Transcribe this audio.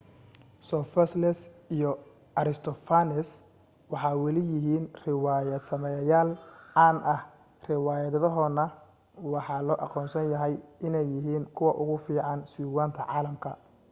sophocles iyo aristophanes waxay weli yihiin riwaayad sameeyayaal caan ah riwaayadahoodana waxa loo aqoonsan yahay inay yihiin kuwa ugu fiican sugaanta caalamka